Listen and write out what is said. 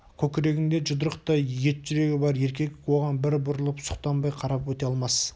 көкірегінде жұдырықтай ет жүрегі бар еркек оған бір бұрылып сұқтанбай қарап өте алмас